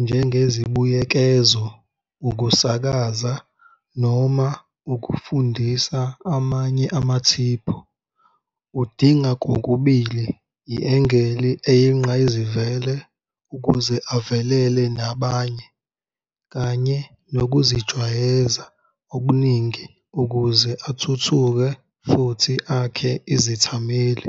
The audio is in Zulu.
njengezibuyekezo, ukusakaza noma ukufundisa amanye amathiphu. Udinga kokubili, i-angle eyinqayizivele ukuze avelele nabanye kanye nokuzijwayeza okuningi ukuze athuthuke futhi akhe izithameli.